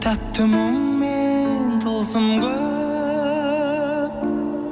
тәтті мұңмен тылсым көп